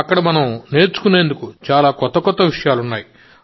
అక్కడ మనం నేర్చుకునేందుకు కొత్త కొత్త విషయాలున్నాయి